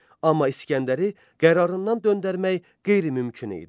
Amma İsgəndəri qərarından döndərmək qeyri-mümkün idi.